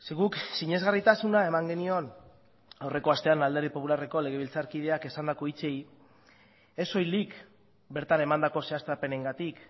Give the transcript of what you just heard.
guk sinesgarritasuna eman genion aurreko astean alderdi popularreko legebiltzarkideak esandako hitzei ez soilik bertan emandako zehaztapenengatik